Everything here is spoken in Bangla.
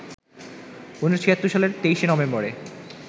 ১৯৭৬ সালের ২৩শে নভেম্বরে